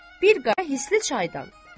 Bir qara hisli çaydan.